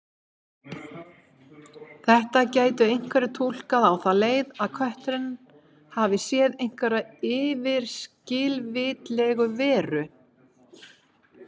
Þetta gætu einhverjir túlkað á þá leið að kötturinn hafi séð einhverja yfirskilvitlega veru.